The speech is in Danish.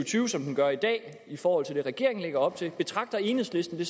tyve som den gør i dag i forhold til det regeringen lægger op til betragter enhedslisten